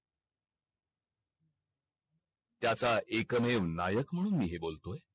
त्याचा एकमेव नायक म्हणून मी हे बोलतोय